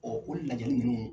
Ɔ o lajali nunnu